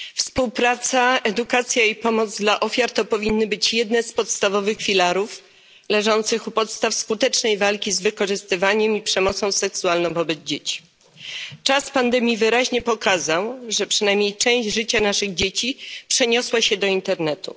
Współpraca, edukacja i pomoc dla ofiar powinny być wśród podstawowych filarów skutecznej walki z wykorzystywaniem i przemocą seksualną wobec dzieci. Czas pandemii wyraźnie pokazał, że przynajmniej część życia naszych dzieci przeniosła się do internetu.